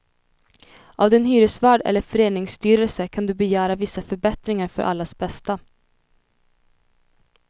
Av din hyresvärd eller föreningsstyrelse kan du begära vissa förbättringar för allas bästa.